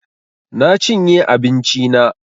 Na chinye abinchi na